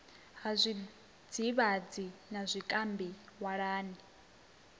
ha zwidzivhadzi na zwikambi walani